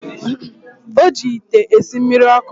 O ji ite esi mmiri ọkụ.